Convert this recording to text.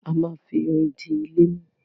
A má fi irin di ilé mú.